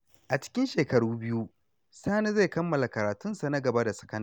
A cikin shekara biyu, Sani zai kammala karatunsa na gaba da sakandare.